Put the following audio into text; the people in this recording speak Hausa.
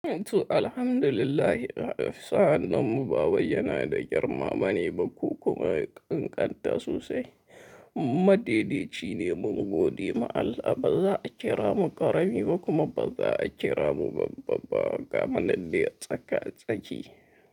Toh Alhamdulillah, sa'an nan mu ba wai ya na da girmama ne ba ko kuma ƙanƙanta sosai. Madede ci ne mun gode ma Allah, ba za a kira mu ƙarami ba kuma ba za a kira mu babba ba. Ga mana dai tsaka-tsaki.